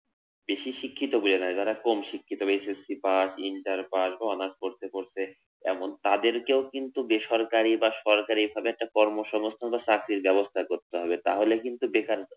বেশি শিক্ষিত বলে না যারা কম শিক্ষিত S S C পাশ ইন্টার পাশ বা honours পড়তে পড়তে এমন, তাদেরকেও কিন্তু বেসরকারি বা সরকারি এইভাবে একটা কর্মসংস্থান বা চাকরির ব্যবস্থা করতে হবে তাহলে কিন্তু বেকার